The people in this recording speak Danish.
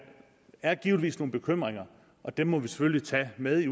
er givetvis nogle bekymringer og dem må vi selvfølgelig tage med i